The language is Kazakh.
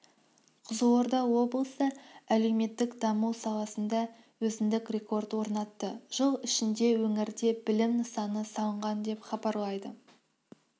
қызылорда облысы әлеуметтік даму саласында өзіндік рекорд орнатты жыл ішінде өңірде білім нысаны салынған деп хабарлайды